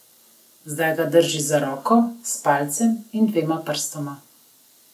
Zdaj ga drži za roko, s palcem in dvema prstoma.